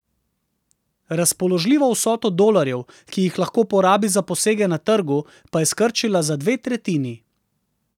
Razpoložljivo vsoto dolarjev, ki jih lahko porabi za posege na trgu, pa je skrčila za dve tretjini.